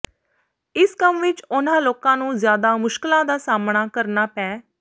ਇਸ ਕੰਮ ਵਿੱਚ ਉਨ੍ਹਾਂ ਲੋਕਾਂ ਨੂੰ ਜ਼ਿਆਦਾ ਮੁਸ਼ਕਿਲਾਂ ਦਾ ਸਾਹਮਣਾ ਕਰਨਾ ਪੈ